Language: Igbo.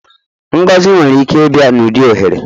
Ngọzi nwere ike ịbịa n'ụdị ohere.